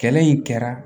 Kɛlɛ in kɛra